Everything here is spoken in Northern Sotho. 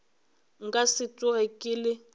nka se tsoge ke le